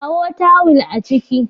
Kawo tawul a ciki